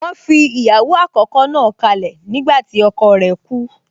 Wọ́n fi ìyàwó àkọ́kọ́ náà kálẹ̀ nígbàtí ọkọ rẹ̀ kú